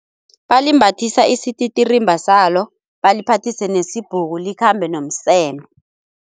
Balimbathisa isititirimba salo, baliphathise nesibhuku likhambe nomseme.